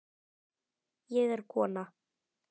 Ég er kona